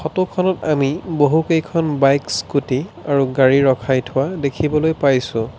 ফটোখনত আমি বহুকেইখন বাইক স্কুটি আৰু গাড়ী ৰখাই থোৱা দেখিবলৈ পাইছোঁ।